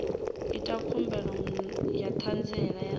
ita khumbelo ya ṱhanziela ya